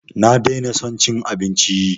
Na daina son cin abinci